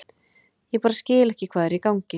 Ég bara skil ekki hvað er í gangi.